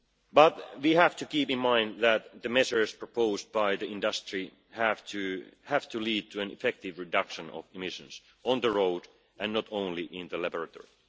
But we have to keep in mind that the measures proposed by the industry have to lead to an effective reduction of emissions on the road and not only in the laboratory.